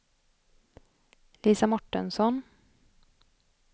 Lisa Mårtensson